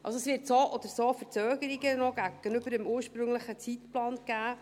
Also, es wird so oder so noch Verzögerungen gegenüber dem ursprünglichen Zeitplan geben.